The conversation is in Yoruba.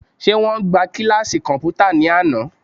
Ṣé wọ́n gbá kíláàsì kọ̀m̀pútà ní àná?